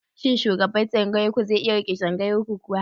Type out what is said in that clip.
Shin shugaban tsangayar ku zai iya riƙe tsangayar ku kuwa?